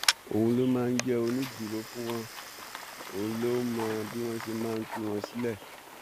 òun ló máa ń jẹ onídùúró fún wọn òun ló ń mọ bí wọn ṣe máa tú wọn sílẹ